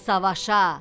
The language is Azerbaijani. Gəl savaşa!